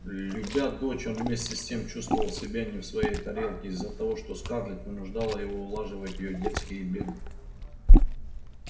любя дочь он вместе с тем чувствовал себя не в своей тарелке из-за того что скарлетт вынуждала его улаживать её детские беды